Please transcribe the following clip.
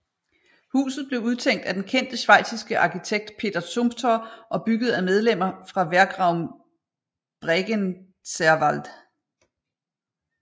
Huset blev udtænkt af den kendte schweiziske arkitekt Peter Zumthor og bygget af medlemmer fra Werkraum Bregenzerwald